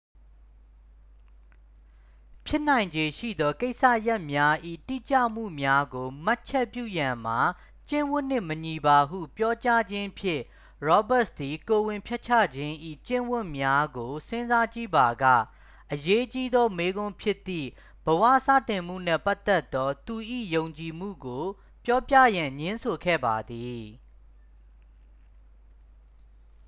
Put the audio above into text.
ဖြစ်နိုင်ခြေရှိသော ကိစ္စရပ်များ၏ တိကျမှုများကို မှတ်ချက်ပြုရန်မှာ ကျင့်ဝတ်နှင့်မညီပါဟု ပြောကြားခြင်းဖြင့် ရောဘတ်စ် သည် ကိုယ်ဝန်ဖျက်ချခြင်း၏ ကျင့်ဝတ်များကို စဉ်းစားကြည့်ပါက အရေးကြီးသော မေးခွန်းဖြစ်သည့် ဘဝစတင်မှုနှင့်ပတ်သက်သော သူ၏ယုံကြည်မှုကို ပြောပြရန် ငြင်းဆိုခဲ့ပါသည်